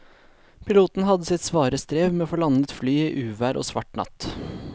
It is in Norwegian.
Piloten hadde sitt svare strev med å få landet flyet i uvær og svart natt.